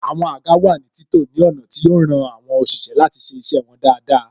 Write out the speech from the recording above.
Àwọn àga wà ní títò ní ọ̀nà tí yo ran àwọn òṣìṣẹ́ láti ṣe iṣẹ́ wọn dáadáa